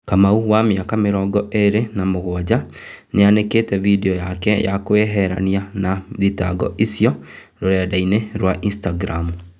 Kamau, wa mĩaka mĩrongo ĩrĩ na mũgwanja, nĩanĩkĩte vidio yake ya kwĩyeherania na thitango icio rũrendaini rwa Instagramu.